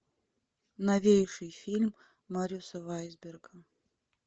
новейший фильм марюса вайсберга